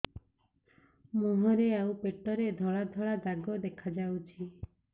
ମୁହଁରେ ଆଉ ପେଟରେ ଧଳା ଧଳା ଦାଗ ଦେଖାଯାଉଛି